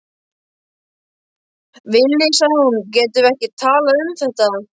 Villi, sagði hún, getum við ekki talað um þetta?